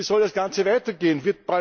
Wie soll das Ganze weitergehen?